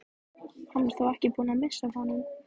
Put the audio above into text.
Hann er þó ekki búinn að missa af honum!